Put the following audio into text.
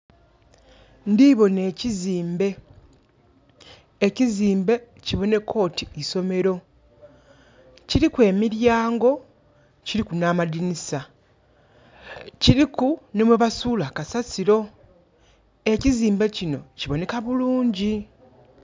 Ndhi bona ekiziimbe. Ekiziimbe kiboneka oti isomero. Kiliku emilyango, kiliku na amadinisa. Kiliku nhi ghebasuula kasasiro. Ekiziimbe kino kiboneka bulungi.